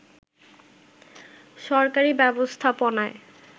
সরকারি ব্যবস্থাপনায়